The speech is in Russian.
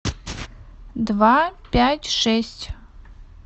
два пять шесть